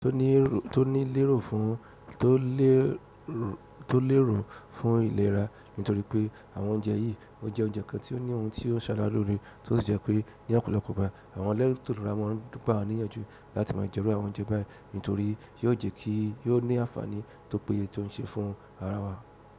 Tó ní lérò fún tó lérò fún ìlera nítorí pé àwọn oúnjẹ yìí ọ jẹ́ oúnjẹ kan tí ó ní ohun tí ó ṣara loore tó sì jẹ́ pé ní ọ̀pọ̀lọpọ̀ ìgbà àwọn ẹlẹ́ti ìlera mọ̀ ń gba wà níyànjú láti máa jẹ́ iru àwọn oúnjẹ bayi nítorí yóò jẹ́ kí yóò ní àǹfààní tó péye tó ń ṣe fún ara wa.